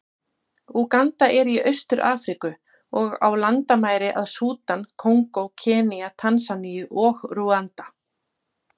Úganda er í Austur-Afríku, og á landamæri að Súdan, Kongó, Kenía, Tansaníu og Rúanda.